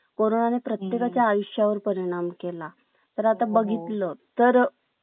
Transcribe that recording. कॉरोनाने प्रत्येका च्या आयुष्या वर परिणाम केला तर आता बघितलं तर